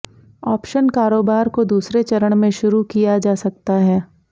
option कारोबार को दूसरे चरण में शुरू किया जा सकता है